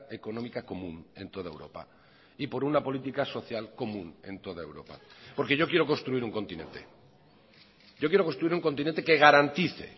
económica común en toda europa y por una política social común en toda europa porque yo quiero construir un continente yo quiero construir un continente que garantice